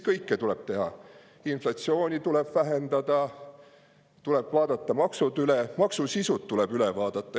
Kõike tuleb teha: inflatsiooni tuleb, tuleb vaadata maksud üle, maksude sisu tuleb üle vaadata.